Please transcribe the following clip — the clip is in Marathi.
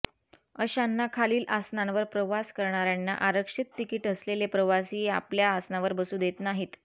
अशांना खालील असनांवर प्रवास करणाऱ्यांना आरक्षित तिकिट असलेले प्रवासी आपल्या असनावर बसू देत नाहीत